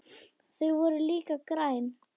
Þau voru líka græn.